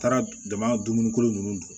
Taara jama dumunikolon ninnu